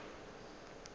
seo a bego a se